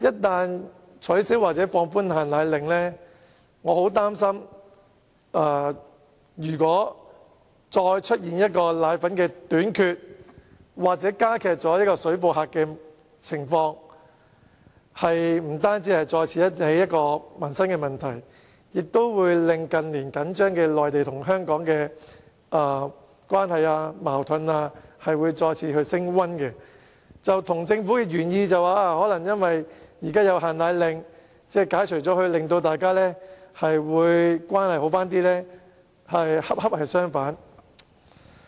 假如取消或放寬"限奶令"，我很擔心會再出現奶粉短缺或水貨客的情況，不單會再次引起民生問題，亦會令內地與香港的緊張關係和矛盾再次升溫，以致與政府的原意，即解除"限奶令"可改善兩地關係恰恰相反。